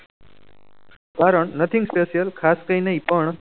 કારણ nothing special ખાસ કરી ને નહી પણ